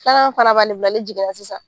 fana n'i jiginna sisan